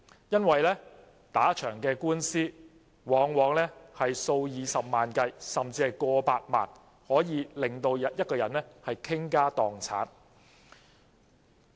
因為打一場官司的費用往往數以十萬計，甚至過百萬，足令一個人傾家蕩產。